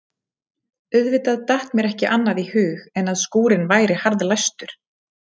Auðvitað datt mér ekki annað í hug en að skúrinn væri harðlæstur.